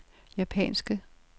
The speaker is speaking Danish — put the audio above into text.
japanske